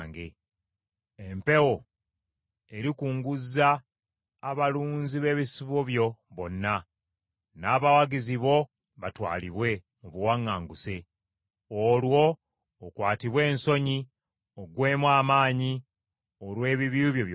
Empewo erikunguzza abalunzi b’ebisibo byo bonna, n’abawagizi bo batwalibwe mu buwaŋŋanguse. Olwo okwatibwe ensonyi oggweemu amaanyi olw’ebibi byo byonna.